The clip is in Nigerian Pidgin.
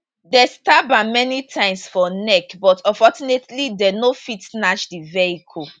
dem stab am many times for neck but unfortunately dem no fit snatch the vehicle